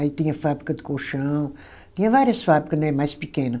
Aí tinha fábrica de colchão, tinha várias fábrica, né, mais pequena.